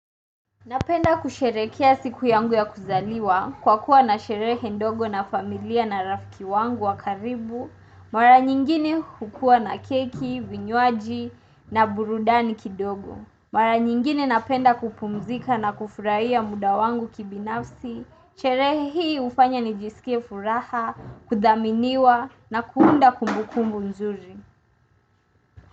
Napenda kusherehekea siku yangu ya kuzaliwa kwa kuwa na sherehe ndogo na familia na rafiki wangu wakaribu, mara nyingine hukua na keki, vinywaji na burudani kidogo. Mara nyingine napenda kupumzika na kufurahia muda wangu kibinafsi, sherehe hii hufanya nijisikie furaha, kudhaminiwa na kuunda kumbukumbu mzuri.